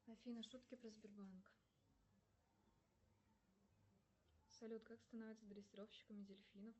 афина шутки про сбербанк салют как становятся дрессировщиками дельфинов